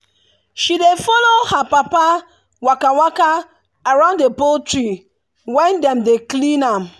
she dey follow her papa waka waka around the poultry when dem dey clean am.